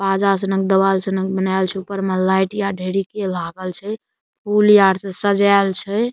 बाजा छनक देवाल छनक बनाएल छे ऊपर में लाइट या ढ़ेरी के लागल छे फूल यार से सजाएल छे।